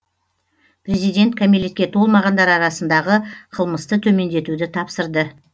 президент кәмелетке толмағандар арасындағы қылмысты төмендетуді тапсырды